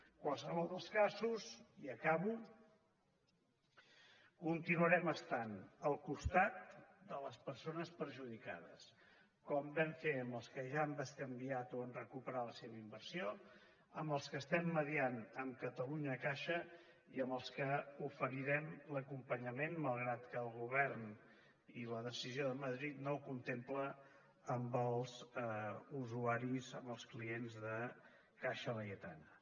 en qualsevol dels casos i acabo continuarem estant al costat de les persones perjudicades com vam fer amb els que ja han bescanviat o han recuperat la seva inversió amb els que estem mitjançant amb catalunyacaixa i amb els que els oferirem l’acompanyament malgrat que el govern i la decisió de madrid no ho contemplen amb els usuaris amb els clients de caixa laietana